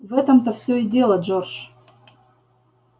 в этом-то все и дело джордж